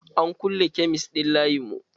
An kulle kemis ɗin layin mu.